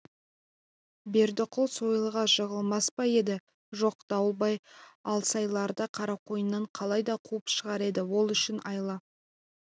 бердіқұл сойылға жығылмас па еді жоқ дауылбай алсайларды қарақойыннан қалайда қуып шығар еді ол үшін айла